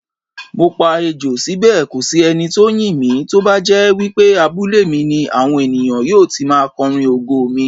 Mopa Ejò síbè kòsí enitó ńyìn mí, tóbájẹ́ wípé abúlé mi ni, àwọn ènìyàn yóò ti máa kọrin ògo mi.